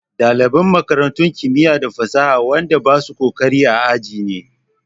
Ɗaliban makarantun kimiya da fasaha waɗan da basu ƙoƙari a aji ne da.